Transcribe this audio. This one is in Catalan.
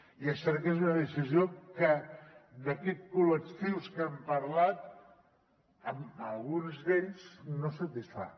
i és cert que és una decisió que d’aquests col·lectius que hem parlat a alguns d’ells no els satisfà